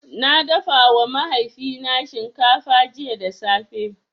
Na dafawa mahaifina shinkafa jiya da safe.